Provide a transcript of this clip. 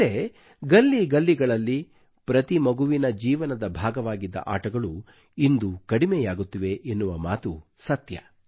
ಹಿಂದೆ ಗಲ್ಲಿ ಗಲ್ಲಿಗಳಲ್ಲಿ ಪ್ರತಿ ಮಗುವಿನ ಜೀವನದ ಭಾಗವಾಗಿದ್ದ ಆಟಗಳು ಇಂದು ಕಡಿಮೆಯಾಗುತ್ತಿವೆ ಎನ್ನುವ ಮಾತು ಸತ್ಯ